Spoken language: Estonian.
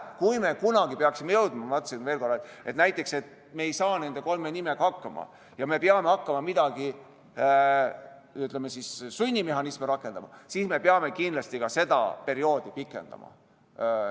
Kui me kunagi peaksime jõudma selleni, ma ütlen veel kord, et näiteks me ei saa nende kolme nimega hakkama ja peame hakkama sunnimehhanisme rakendama, siis me peame kindlasti ka seda perioodi pikendama.